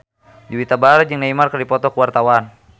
Juwita Bahar jeung Neymar keur dipoto ku wartawan